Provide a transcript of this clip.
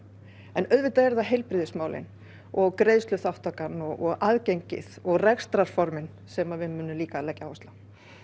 en auðvitað eru það heilbrigðismálin og greiðsluþátttakan og aðgengið og rekstrarformin sem við munum líka leggja áherslu á